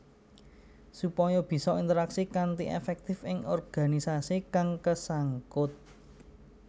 Supaya bisa interaksi kanthi èfèktif ing organisasi kang kesangkut